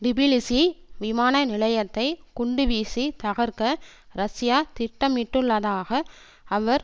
Tbilisi விமான நிலையத்தை குண்டுவீசி தகர்க்க ரஷ்யா திட்டமிட்டுள்ளதாக அவர்